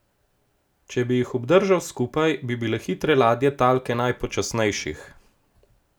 Če bi jih obdržal skupaj, bi bile hitre ladje talke najpočasnejših.